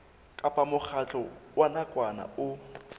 kapa mokgatlo wa nakwana o